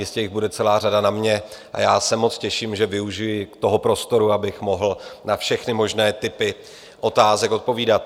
Jistě jich bude celá řada na mě a já se moc těším, že využiji toho prostoru, abych mohl na všechny možné typy otázek odpovídat.